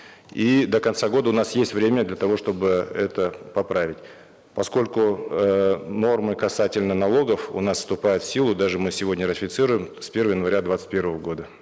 и до конца года у нас есть время для того чтобы это поправить поскольку эээ нормы касательно налогов у нас вступают в силу даже мы сегодня ратифицируем с первого января двадцать первого года